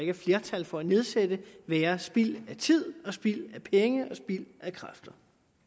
er flertal for at nedsætte være spild af tid spild af penge og spild af kræfter